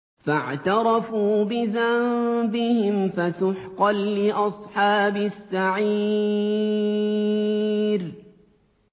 فَاعْتَرَفُوا بِذَنبِهِمْ فَسُحْقًا لِّأَصْحَابِ السَّعِيرِ